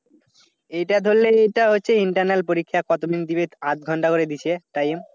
এটা ধরলে এটা হচ্ছে internal পরীক্ষা কত টুকু আধ ঘন্টা করে দিছে time